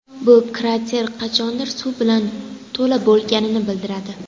Bu krater qachondir suv bilan to‘la bo‘lganini bildiradi.